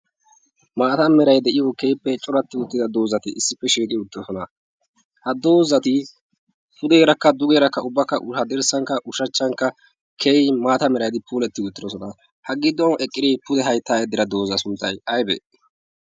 maata merai de'iyo keeppee coratti uttida doozati issippe sheegi uttidosona ha doozatii pudeerakka dugeerakka ubbakka haddirssankka ushachchankka keeyi maata meraidi puuletti uttidosona ha ggii duwan eqqirii pude haittaa iddira dooza sunttay aybee?